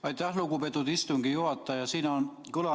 Aitäh, lugupeetud istungi juhataja!